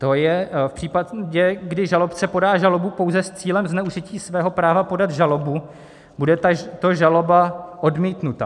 To je v případě, kdy žalobce podá žalobu pouze s cílem zneužití svého práva podat žalobu, bude tato žaloba odmítnuta.